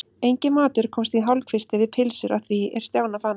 Enginn matur komst í hálfkvisti við pylsur að því er Stjána fannst.